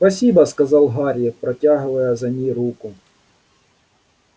спасибо сказал гарри протягивая за ней руку